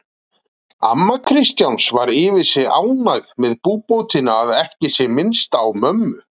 Amma Kristjáns var yfir sig ánægð með búbótina að ekki sé minnst á mömmu